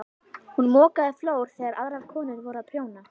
Hún mokaði flór þegar aðrar konur voru að prjóna.